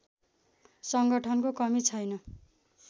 संगठनको कमी छैन